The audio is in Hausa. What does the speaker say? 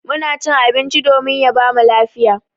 Muna cin abinci domin ya bamu lafiya.